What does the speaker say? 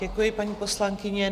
Děkuji, paní poslankyně.